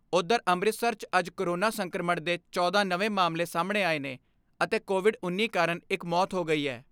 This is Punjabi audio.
ਉਧਰ ਅੰਮ੍ਰਿਤਸਰ 'ਚ ਅੱਜ ਕੋਰੋਨਾ ਸੰਕਰਮਣ ਦੇ ਚੌਦਾਂ ਨਵੇਂ ਮਾਮਲੇ ਸਾਹਮਣੇ ਆਏ ਨੇ ਅਤੇ ਕੋਵਿਡ ਉੱਨੀ ਕਾਰਨ ਇਕ ਮੌਤ ਹੋ ਗਈ ਐ।